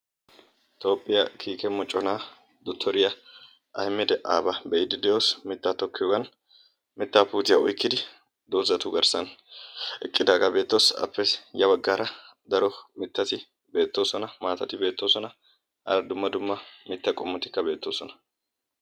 Toophphiya kiike moccona dottoriyaa Ahimed Aaba be"iiddi de"oos. Mittaa tokkiyoogan mittaa puutiya oykkidi doozatu garssan eqqidaagaa beettes. Aappe ya baggaara daro mittati beettoosona. Maatati beettoosona. Dumma dumma qommo mittatikka beettoosona.